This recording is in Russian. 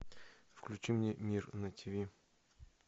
включи мне мир на тиви